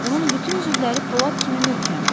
Onun bütün üzvləri polad kimi möhkəmdir.